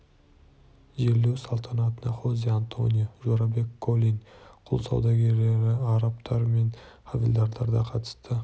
жерлеу салтанатына хозе-антонио жорабек колин құл саудагері арабтар мен хавильдарлар да қатысты